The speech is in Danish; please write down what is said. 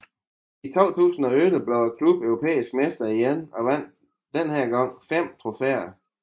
I 2011 blev klubben europæiske mestre igen og vandt denne gang fem trofæer